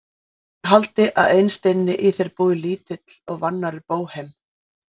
Ég haldi að innst inni í þér búi lítill og vannærður bóhem.